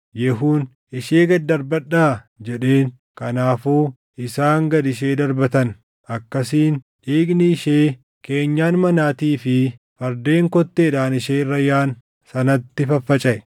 Yehuun, “Ishee gad darbadhaa!” jedheen. Kanaafuu isaan gad ishee darbatan; akkasiin dhiigni ishee keenyan manaatii fi fardeen kotteedhaan ishee irra yaaʼan sanatti faffacaʼe.